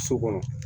So kɔnɔ